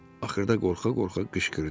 Axırda qorxa-qorxa qışqırdı.